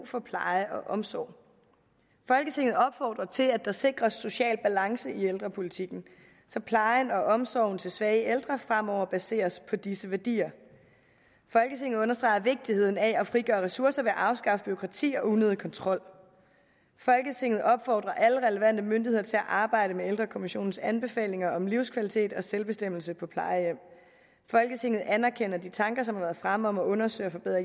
for pleje og omsorg folketinget opfordrer til at der sikres social balance i ældrepolitikken så plejen og omsorgen til svage ældre fremover baseres på disse værdier folketinget understreger vigtigheden af at frigøre ressourcer ved at afskaffe bureaukrati og unødig kontrol folketinget opfordrer alle relevante myndigheder til at arbejde med ældrekommissionens anbefalinger om livskvalitet og selvbestemmelse på plejehjem folketinget anerkender de tanker som har været fremme om at undersøge og forbedre